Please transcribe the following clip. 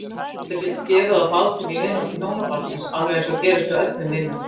Auðvitað getur gefið á bátinn í vináttu hjónabandsins alveg eins og gerist hjá öllum vinum.